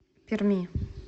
перми